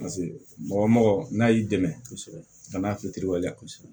mɔgɔ mɔgɔ n'a y'i dɛmɛ kosɛbɛ bana k'i telewale la kosɛbɛ